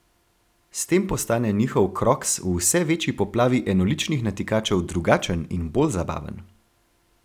S tem postane njihov kroks v vse večji poplavi enoličnih natikačev drugačen in bolj zabaven.